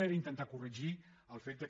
era intentar corregir el fet que